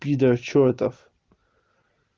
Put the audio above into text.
пидор чёртов